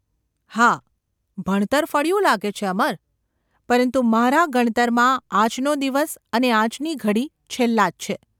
‘હા ભણતર ફળ્યું લાગે છે, અમર ! પરંતુ મારા ગણતરમાં આજનો દિવસ અને આજની ઘડી છેલ્લાં જ છે.